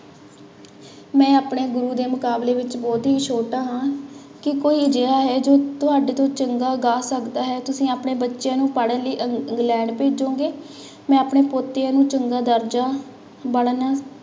ਮੈਂ ਆਪਣੇ ਗੁਰੂ ਦੇ ਮੁਕਾਬਲੇ ਵਿੱਚ ਬਹੁਤ ਹੀ ਛੋਟਾ ਹਾਂ ਕਿ ਕੋਈ ਅਜਿਹਾ ਹੈ ਜੋ ਤੁਹਾਡੇ ਤੋਂ ਚੰਗਾ ਗਾ ਸਕਦਾ ਹੈ, ਤੁਸੀਂ ਆਪਣੇ ਬੱਚਿਆਂ ਨੂੰ ਪੜ੍ਹਨ ਲਈ ਇੰਗਲੈਂਡ ਭੇਜੋਂਗੇ, ਮੈਂ ਆਪਣੇ ਪੋਤਿਆਂ ਨੂੰ ਚੰਗਾ ਦਰਜ਼ਾ ਬਣਨ